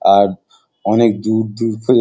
আর অনেক দূর দূর --